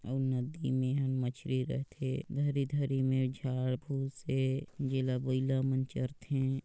अऊ नदी मे मछली रथे धरे-धरे निझा भूसे जेला बाइला मन चरथे ।